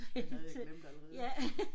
Det havde jeg glemt allerede